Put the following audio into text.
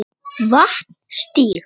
Vatnsstíg